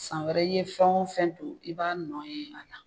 San wɛrɛ i ye fɛn o fɛn don i b'a nɔn ye a la.